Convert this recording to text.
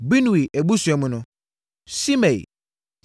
Binui abusua mu no: Simei,